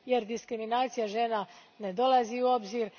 Diskriminacija žena ne dolazi u obzir